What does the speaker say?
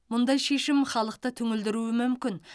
мұндай шешім халықты түңілдіруі мүмкін